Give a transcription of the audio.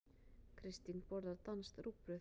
Kristín borðar danskt rúgbrauð.